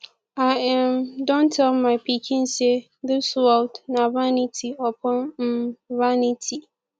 i um don tell my pikin say dis world na vanity upon um vanity